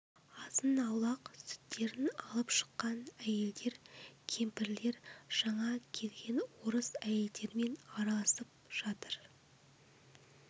азын-аулақ сүттерін алып шыққан әйелдер кемпірлер жаңа келген орыс әйелдерімен араласып жатыр